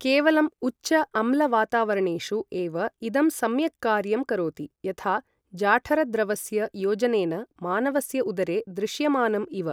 केवलम् उच्च अम्ल वातावरणेषु एव इदं सम्यक् कार्यं करोति, यथा जाठरद्रवस्य योजनेन मानवस्य उदरे दृश्यमानम् इव।